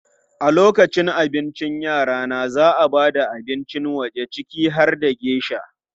A lokacin abincin rana, za a ba da abincin waje ciki har da geisha.